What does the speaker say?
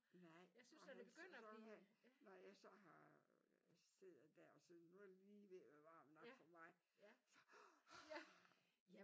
Nej og hans så vil han når jeg så har sidder der og sådan nu er det lige ved at være varmt nok for mig så: ah!